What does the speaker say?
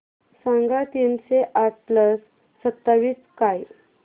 सांगा तीनशे आठ प्लस सत्तावीस काय